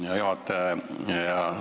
Hea juhataja!